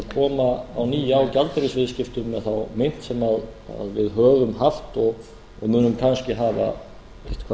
koma að nýju á gjaldeyrisviðskiptum með þá mynt sem við höfum haft og munum kannski hafa eitthvað